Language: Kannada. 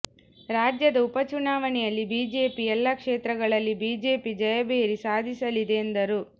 ರಾಜ್ಯದ ಉಪ ಚುನಾವಣೆಯಲ್ಲಿ ಬಿಜೆಪಿ ಎಲ್ಲಾ ಕ್ಷೇತ್ರಗಳಲ್ಲಿ ಬಿಜೆಪಿ ಜಯಭೇರಿ ಸಾಧಿಸಲಿದೆ ಎಂದರು